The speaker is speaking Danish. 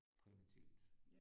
Primitivt